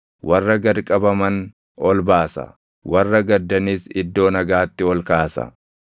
Warra gad qabaman ol baasa; warra gaddanis iddoo nagaatti ol kaasa.